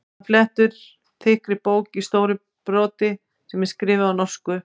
Hann flettir þykkri bók í stóru broti sem er skrifuð á norsku.